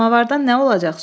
Samavardan nə olacaq?